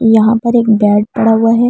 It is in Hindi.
यहां पर एक बेड पड़ा है।